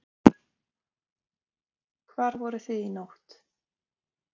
Fréttamaður: Hvar voruð þið í nótt?